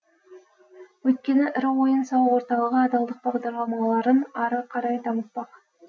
өйткені ірі ойын сауық орталығы адалдық бағдарламаларын ары қарай дамытпақ